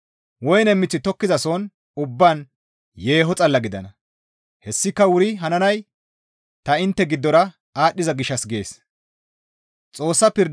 Woyne miththi tokettizason ubbaan yeeho xalla gidana; hessika wuri hananay ta intte giddora aadhdhiza gishshassa» gees.